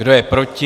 Kdo je proti?